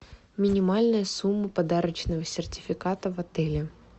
минимальная сумма подарочного сертификата в отеле